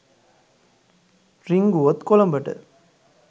රිංගුවොත් කොළඹට